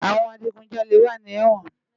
Awòn àjigúnjàlé wà ni èwòn